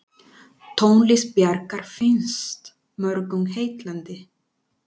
Tónlist Bjarkar finnst mörgum heillandi.